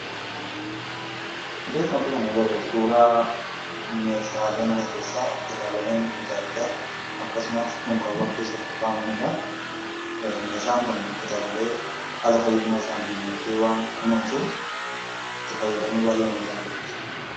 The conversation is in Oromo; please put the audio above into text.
Iddoo kanarratti kan agarru, suuraa meeshaalee mana keessaa, kitaabilee adda addaa, akkasumas bakkawwan keessa kakkaawwamanidha. Meeshaan kun kitaabilee haala fayyummaa isaaniin eegee waan kunuunsuuf itti fayyadamuu baay'eeman jaalladha.